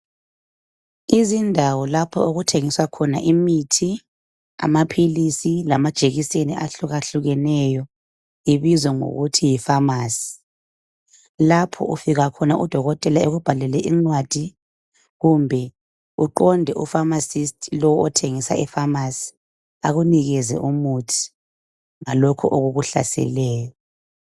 Izindawo lapho okuthengiswa khona imithi, amaphilisi lamajekiseni ahlukahlukeneyo ibizwa ngokuthi yifamasi. Lapho ufika khona udokotela ekubhalele incwadi kumbe uqonde u pharmacist lo othengisa efamasi akunikeze umuthi ngalokho okukuhlaseleyo.